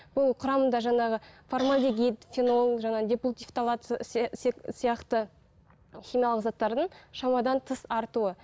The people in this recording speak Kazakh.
бұл құрамында жаңағы формальдегид фенол жаңағы депутивация сияқты химиялық заттардың шамадан тыс артуы